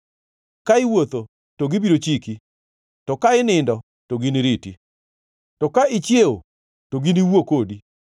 Ka iwuotho, to gibiro chiki; to ka inindo, to giniriti; to ka ichiewo, to giniwuo kodi.